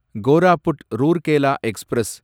Koraput Rourkela express